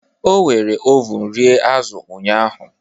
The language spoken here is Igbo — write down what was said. O were ovun rie azụ̀ ụnyahụ